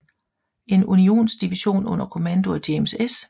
En Unionsdivision under kommando af James S